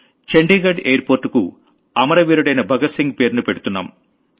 Chandigarh airport కు అమర వీరుడైన భగత్ సింగ్ పేరును పెడుతున్నాం